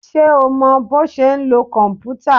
Ṣé o mọ bọ́ ṣe ń lo kòmpútà?